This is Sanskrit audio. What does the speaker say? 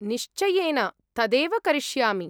निश्चयेन, तदेव करिष्यामि।